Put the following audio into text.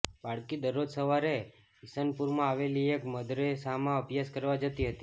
બાળકી દરરોજ સવારે ઇસનપુરમાં આવેલી એક મદરેસામાં અભ્યાસ કરવા જતી હતી